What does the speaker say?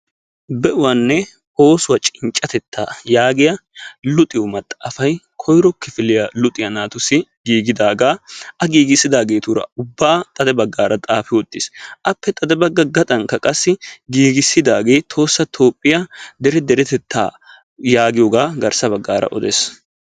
Be"uwaanne oosuwa cinccattettaa yaagiya luxiyo maxaafay koyro kifiliya luxiyaa naatussi giiggidaagaa a giiggissidaagetuuraa ubaa xade baggaara xaafi uttiis. Appe xade bagga gaxxankka qassi giiggissidaagee Tohossa Toophphiya dere deretettaa yaagiyoogaa garssa baggaara odees.